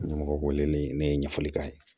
Ɲɛmɔgɔ k'o wele ne ye ɲɛfɔli k'a ye